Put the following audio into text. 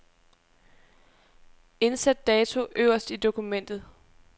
Indsæt dato øverst i dokumentet.